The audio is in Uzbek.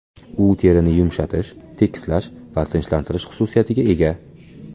U terini yumshatish, tekislash va tinchlantirish xususiyatiga ega.